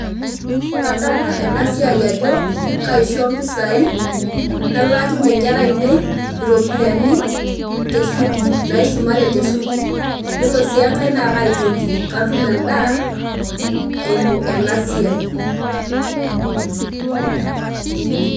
Kadamu ena siai ajo kaisho impisai nalaakinye inkera ainei iropiyiani te sukuul, naisumare te sukuul. Iyiolo sii enkae naa kaitoti, katum endaa eimu ena siai.